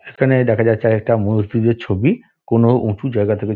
সেখানে দেখা যাচ্ছে আর এক টা মসজিদের ছবি কোন উঁচু জায়গা থেকে --